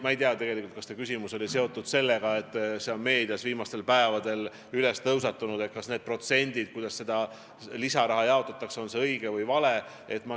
Ma ei tea, kas teie küsimus oli seotud sellega, et meedias on viimastel päevadel tõusetunud see teema, kas need lisaraha jaotamise protsendid on õiged või valed.